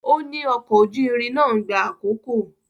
Ó ní ọkọ̀ ojú irin náà ń gba àkókò.